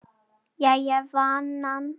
Jæja vinan.